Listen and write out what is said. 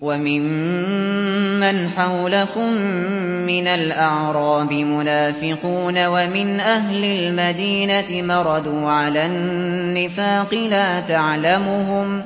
وَمِمَّنْ حَوْلَكُم مِّنَ الْأَعْرَابِ مُنَافِقُونَ ۖ وَمِنْ أَهْلِ الْمَدِينَةِ ۖ مَرَدُوا عَلَى النِّفَاقِ لَا تَعْلَمُهُمْ ۖ